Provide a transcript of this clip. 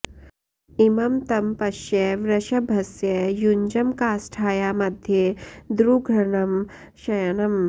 इमं तं पश्य वृषभस्य युञ्जं काष्ठाया मध्ये द्रुघणं शयानम्